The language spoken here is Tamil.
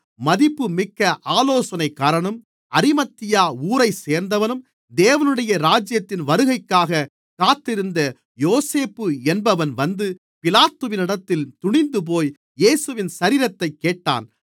மதிப்புமிக்கஆலோசனைக்காரனும் அரிமத்தியா ஊரைச்சேர்ந்தவனும் தேவனுடைய ராஜ்யத்தின் வருகைக்காக காத்திருந்த யோசேப்பு என்பவன் வந்து பிலாத்துவினிடத்தில் துணிந்துபோய் இயேசுவின் சரீரத்தைக் கேட்டான்